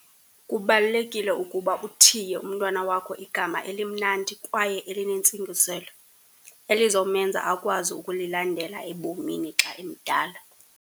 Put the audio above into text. Kubalulekile ukuba uthiye umntwana wakho igama elimnandi kwaye elinentsingiselo, elizomenza akwazi ukulilandela ebomini xa emdala.